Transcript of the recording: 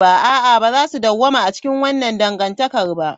A'a, ba za su dawwama a cikin wannan dangantakar ba.